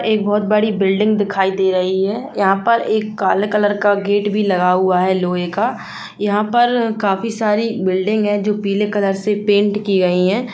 एक बहुत बड़ी बिल्डिंग दिखाई दे रही है यहां पर एक काले कलर का गेट भी लगा हुआ है लोहे का यहाँ पर काफी सारी बिल्डिंग है जो पीले कलर से पेंट की गई है।